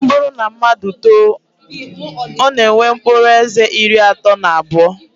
Ọ bụrụ na mmadụ too, ọ na-enwe mkpụrụ eze iri atọ na abụọ